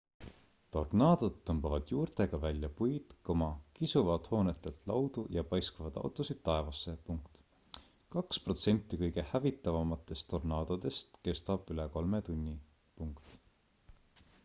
tornaadod tõmbavad juurtega välja puid kisuvad hoonetelt laudu ja paiskavad autosid taevasse kaks protsenti kõige hävitavamatest tornaadodest kestab üle kolme tunni